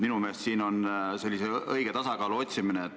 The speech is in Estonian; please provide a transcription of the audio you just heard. Minu meelest siin on vaja leida õige tasakaal.